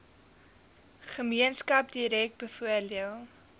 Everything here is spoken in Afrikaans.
gemeenskap direk bevoordeel